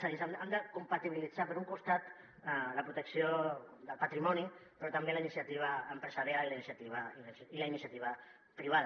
és a dir hem de compatibilitzar per un costat la protecció del patrimoni però també la iniciativa empresarial i la iniciativa privada